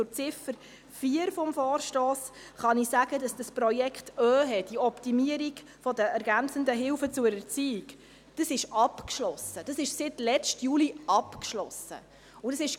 Zu Ziffer 4 des Vorstosses kann ich sagen, dass das Projekt OeHE, die Optimierung der ergänzenden Hilfen zur Erziehung, seit letztem Juli abgeschlossen ist.